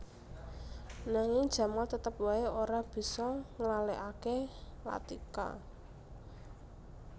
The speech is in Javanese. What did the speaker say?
Nanging Jamal tetep waé ora bisa nglalèkaké Latika